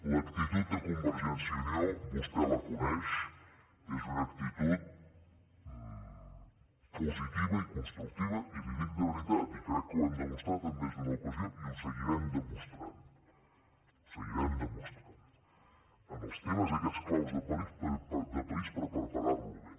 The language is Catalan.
l’actitud de convergència i unió vostè la coneix és una actitud positiva i constructiva i li ho dic de veritat i crec que ho hem demostrat més d’una ocasió i ho seguirem demostrant en els temes aquests clau de país per preparar lo bé